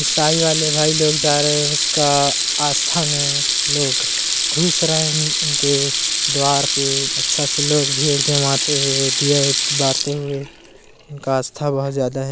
ईसाई वाले भाई लोग जा रहे उसका आस्था में लोग घुस रहे उन उनके द्वार पे अच्छा सा लोग भीड़ जमाते हुए दिया बारते हुए उनका आस्था बहुत ज्यादा है।